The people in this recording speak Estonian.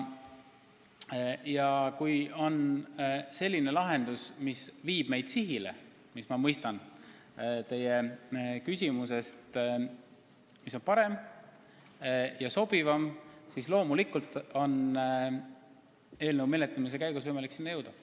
Ja kui on selline lahendus, mis viib meid sihile ja mis, nagu ma mõistan teie küsimusest, on parem ja sobivam, siis loomulikult on eelnõu menetlemise käigus võimalik see valida.